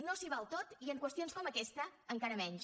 no s’hi val tot i en qüestions com aquesta encara menys